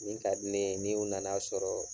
Min ka di ne ye ni u na na sɔrɔ